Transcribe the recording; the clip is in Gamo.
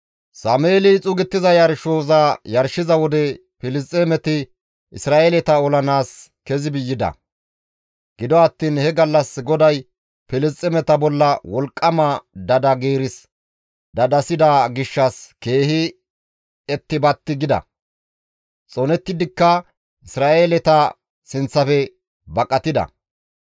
Sameeli xuugettiza yarshoza yarshiza wode Filisxeemeti Isra7eeleta olanaas kezi yida; gido attiin he gallas GODAY Filisxeemeta bolla wolqqama dada giirs dadasida gishshas keehi etti batti gida; xoonettidikka Isra7eeleta sinththafe baqatida.